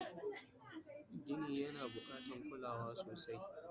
Gini yana bukatan kulawa sosai